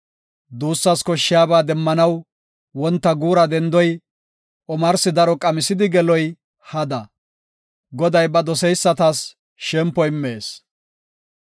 Duussas koshshiyaba demmanaw, wonta guura dendoy, omarsi daro qamisidi geloy hada. Goday ba doseysatas shempo immees.